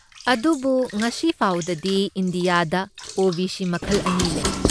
ꯑꯗꯨꯕꯨ ꯉꯁꯤꯐꯥꯎꯗꯗꯤ, ꯏꯟꯗꯤꯌꯥꯗ ꯑꯣ.ꯕꯤ.ꯁꯤ. ꯃꯈꯜ ꯑꯅꯤ ꯂꯩ꯫